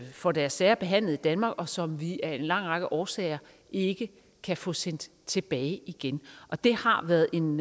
får deres sager behandlet i danmark og som vi af en lang række årsager ikke kan få sendt tilbage igen og det har været en